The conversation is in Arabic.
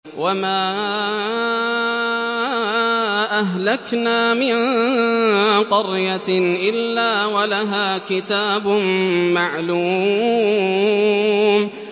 وَمَا أَهْلَكْنَا مِن قَرْيَةٍ إِلَّا وَلَهَا كِتَابٌ مَّعْلُومٌ